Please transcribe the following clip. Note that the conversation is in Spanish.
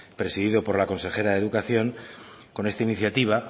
presidido por la consejera de educación con esta iniciativa